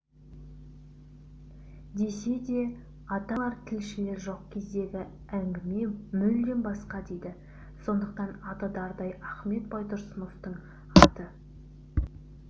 десе де ата-аналар тілшілер жоқ кездегі әңгіме мүлдем басқа дейді сондықтан аты дардай ахмет байтұрсыновтың аты